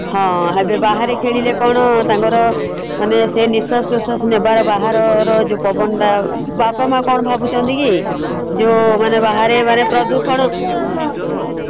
ହଁ ଆଉ ଜଉ ବାହାରେ ଖେଳିଲେ କଣ ତାଙ୍କର ମାନେ ସେ ନିଶ୍ଵାସ ପ୍ରଶ୍ଵାସ ନେବାର ବାହାରର ଜଉ ପବନ ଟା ବାପା ମା କଣ ଭାବୁଛନ୍ତି କି ଜଉ ମାନେ ବାହାରେ ମାନେ ପ୍ରଦୂଷଣ